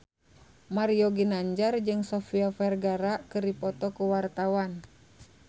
Mario Ginanjar jeung Sofia Vergara keur dipoto ku wartawan